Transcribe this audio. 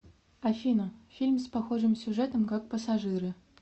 афина фильм с похожим сюжетом как пассажиры